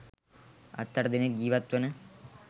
හත් අට දෙනෙක් ජීවත් වන